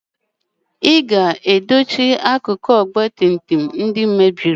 ị ga-edochi akụkụ ọgba tum tum ndị I mebiri!